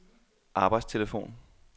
arbejdstelefon